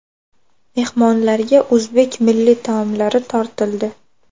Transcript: Mehmonlarga o‘zbek milliy taomlari tortildi.